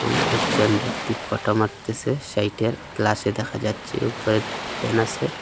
লোকজন একটি ফোটো মারতেছে সেইটা গ্লাসে দেখা যাচ্ছে উপরে ফ্যান আসে।